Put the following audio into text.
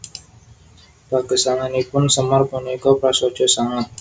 Pagesanganipun Semar punika prasaja sanget